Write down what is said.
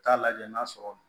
Taa lajɛ n'a sɔrɔ